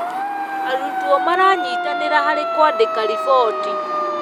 Arutwo maranyitanĩra harĩ kũandĩka riboti.